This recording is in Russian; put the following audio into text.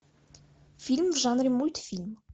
фильм в жанре мультфильм